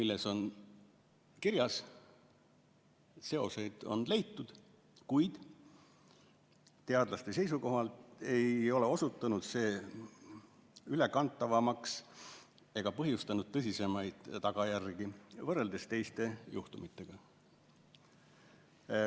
Seal on kirjas, et seoseid on leitud, kuid teadlaste seisukohalt ei ole osutunud see ülekantavaks ega põhjustanud tõsisemaid tagajärgi võrreldes teiste juhtumitega.